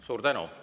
Suur tänu!